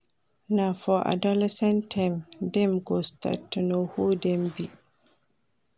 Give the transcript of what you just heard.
Na for adolescence time dem go start to know who dem be.